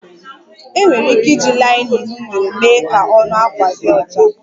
Enwere ike iji linen nwere mee ka ọnụ akwa di ọcha